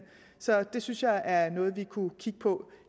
så det synes jeg er noget vi kunne kigge på